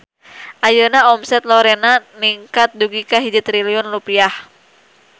Ayeuna omset Lorena ningkat dugi ka 1 triliun rupiah